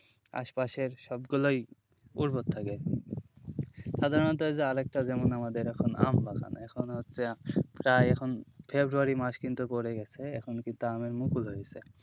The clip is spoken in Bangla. আশপাশের সবগুলোই উর্বর থাকে সাধারনত যে আরেকটা যেমন আমাদের এখন আম বাগান এখন হচ্ছে প্রায় এখন ফেব্রুয়ারী মাস কিন্তু পরে গেছে এখন কিন্তু আমের মুকুল হয়েছে,